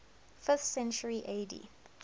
fifth century ad